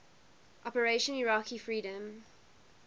operation iraqi freedom